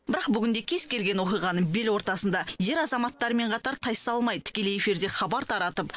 бірақ бүгінде кез келген оқиғаның бел ортасында ер азаматтармен қатар тайсалмай тікелей эфирде хабар таратып